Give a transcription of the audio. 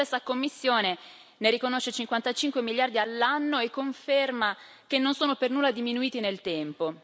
La stessa Commissione ne riconosce 55 miliardi all'anno e conferma che non sono per nulla diminuiti nel tempo.